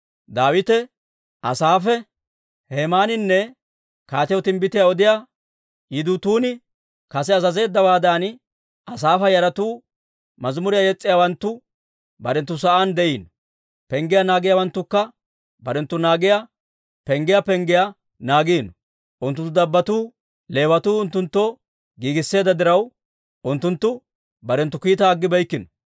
Daawite, Asaafe, Hemaaninne kaatiyaw timbbitiyaa odiyaa Yidutuuni kase azazeeddawaadan, Asaafa yaratuu, mazimuriyaa yes's'iyaawanttu barenttu sa'aan de'iino. Penggiyaa naagiyaawanttukka barenttu naagiyaa penggiyaa penggiyaa naagiino. Unttunttu dabbotuu, Leewatuu unttunttoo giigisseedda diraw, unttunttu barenttu kiitaa aggibeykkino.